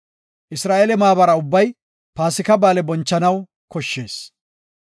Isra7eele maabara ubbay Paasika ba7aale bonchanaw koshshees.